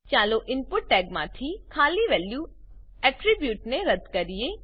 ચાલો ઈનપુટ ટેગમાંથી ખાલી વેલ્યુ એટ્રીબ્યુટ એટ્રીબ્યુટ ને રદ્દ કરીએ